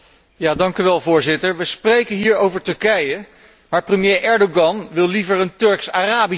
Voorzitter, we spreken hier over Turkije, maar premier Erdoğan wil liever een Turks Arabische Unie.